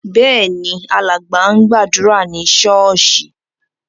Bẹ́ẹ̀ ni, alàgbà ń gbàdúrà ní ṣọ́ọ́ṣì.